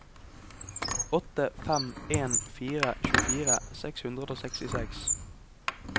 åtte fem en fire tjuefire seks hundre og sekstiseks